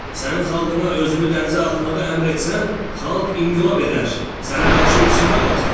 Sən xalqına özünü dənizə atmağı əmr etsən, xalq inqilab edər, sənə qarşı üsyana qalxar.